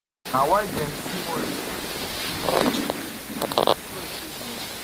na why dem see moremi as pesin wey betray dem and dem swear say dem